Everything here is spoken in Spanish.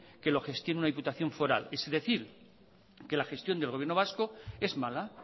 que lo gestione una diputación foral es decir que la gestión del gobierno vasco es mala